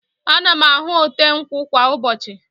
Ana m ahụ ote nkwụ kwa ụbọchị.